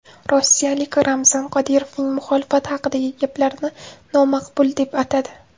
Rossiyaliklar Ramzan Qodirovning muxolifat haqidagi gaplarini nomaqbul deb atadi .